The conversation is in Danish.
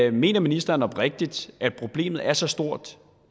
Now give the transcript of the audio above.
er mener ministeren oprigtigt at problemet er så stort